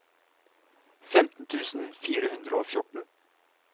femten tusen fire hundre og fjorten